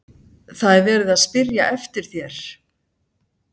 ÞAÐ ER VERIÐ AÐ SPYRJA EFTIR ÞÉR!